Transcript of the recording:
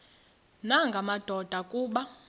nanga madoda kuba